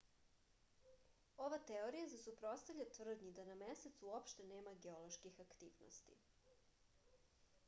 ova teorija se suprotstavlja tvrdnji da na mesecu uopšte nema geoloških aktivnosti